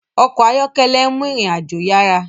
ọkọ̀ ayọ́kẹ́lẹ́ nmú ìrìn àjò yará